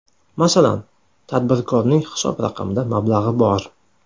Masalan, tadbirkorning hisob raqamida mablag‘i bor.